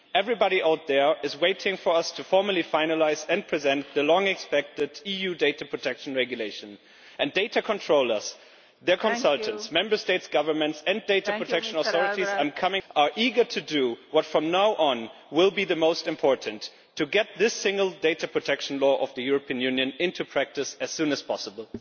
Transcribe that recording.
Everybody out there is waiting for us to formally finalise and present the long expected EU Data Protection Regulation, and data controllers, their consultants, Member State governments and data protection authorities are eager to do what from now on will be the most important thing to get this single data protection law of the European Union into practice as soon as possible.